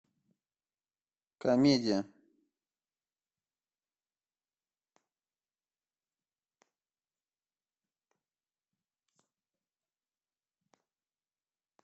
комедия